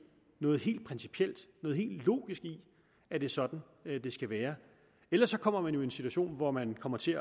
noget helt principielt noget helt logisk i at det er sådan det skal være ellers kommer man jo i en situation hvor man kommer til